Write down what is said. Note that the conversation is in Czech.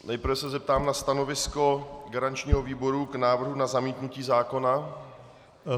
Nejprve se zeptám na stanovisko garančního výboru k návrhu na zamítnutí zákona.